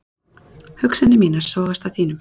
Hugsanir mínar sogast að þínum.